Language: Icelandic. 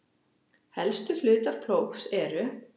Helstu hlutar plógs eru